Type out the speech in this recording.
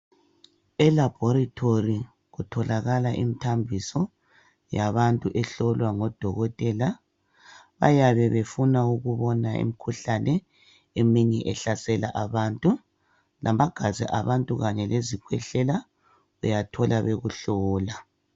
Elabhorithori kutholakala imithambiso yabantu ehlolwa ngodokotela . Bayabe befuna ukubona imikhuhlane eminye ehlasela abantu. Igazi labantu kanye lezikhwehlela uyathola bekuhlolw.